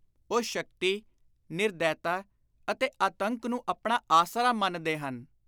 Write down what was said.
ਉਹ ਸ਼ਕਤੀ, ਨਿਰਦੈਤਾ ਅਤੇ ਆਤੰਕ ਨੂੰ ਆਪਣਾ ਆਸਰਾ ਮੰਨਦੇ ਹਨ।